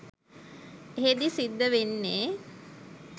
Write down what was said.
එහෙදි සිද්ද වෙන්නේ